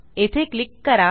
येथे क्लिक करा